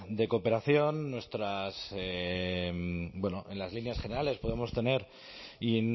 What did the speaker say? de cooperación nuestras bueno en las líneas generales podemos tener y